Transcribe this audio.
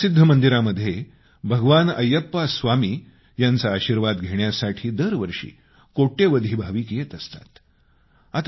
या जगप्रसिद्ध मंदिरामध्ये भगवान अय्यप्पा स्वामी यांचा आशीर्वाद घेण्यासाठी दरवर्षी कोट्यवधी भाविक येत असतात